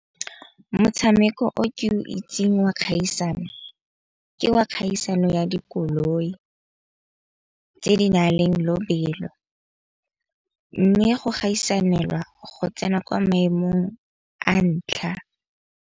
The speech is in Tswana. Motshameko o ke o itseng wa kgaisano ke wa kgaisano ya dikoloi, tse di na leng lobelo. Mme go gaisanelwa go tsena kwa maemong a ntlha.